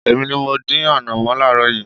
Èmi ní mọ dín ànọ̀mó láaaro yìí.